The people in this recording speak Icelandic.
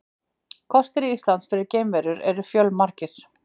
Kostir Íslands fyrir geimverur eru fjölmargir.